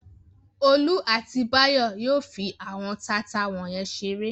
Olú àti Báyọ̀ yóò fi àwọn taata wọ̀nyẹn ṣeré.